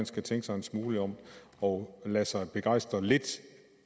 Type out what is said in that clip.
skal tænke sig en smule om og lade sig begejstre lidt